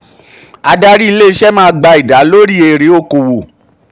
adarí ilé-iṣẹ́ máa gba máa gba ìdá lóri èrè òkòwò.